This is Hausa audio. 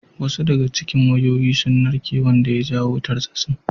Wasu daga cikin wayoyi sun narke wanda ya jawo tartsatsin.